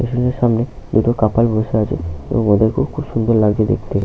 রেস্টুরেন্টের সামনে দুটো কাপল বসে আছে এবং ওদের খুব খুব সুন্দর লাগছে দেখতে।